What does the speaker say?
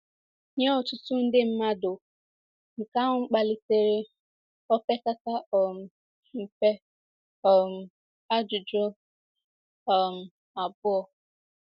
Nye ọtụtụ ndị mmadụ, nke ahụ kpalitere opekata um mpe um ajụjụ um abụọ.